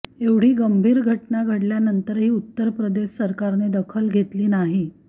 एवढी गंभीर घटना घडल्यानंतरही उत्तर प्रदेश सरकारने दखल घेतली नाही